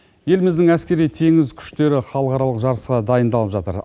еліміздің әскери теңіз күштері халықаралық жарысқа дайындалып жатыр